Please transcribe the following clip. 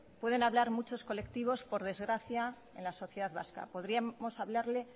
pueden hablar muchos colectivos por desgracia en la sociedad vasca podríamos hablarle